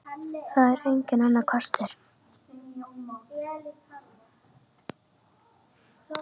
Það er enginn annar kostur.